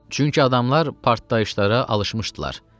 Çünki adamlar partlayışlara alışmışdılar.